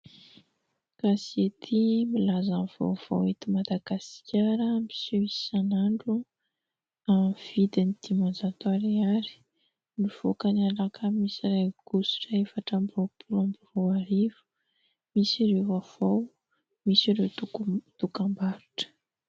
Gazety milaza ny vaovao eto Madagasikara miseho isan'andro ; amin'ny vidiny dimanjato ariary ; nivoaka ny alakamisy iray aogositra efatra amby roapolo amby roa arivo ; misy ireo vaovao misy ireo dokam-barotra.